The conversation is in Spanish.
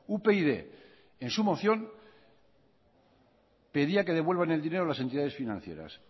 upyd en su moción pedía que devuelvan el dinero a las entidades financieras